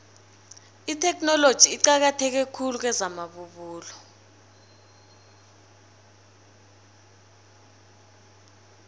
itheknoloji iqakatheke khulu kwezamabubulo